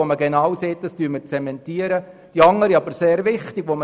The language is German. Aus der einen Sichtweise möchte man eine Zementierung der bestehenden Situation;